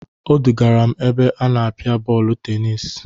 Odugara m n'ebe a na-apịa bọọlụ tenis.